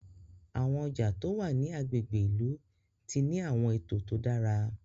Àwọn ọjà tó wá ní àgbègbè ilú tí ní awọn eto tó dára